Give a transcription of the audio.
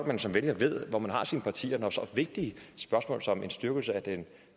man som vælger ved hvor man har sit parti når så vigtige spørgsmål som en styrkelse af den